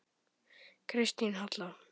Kristín Halla.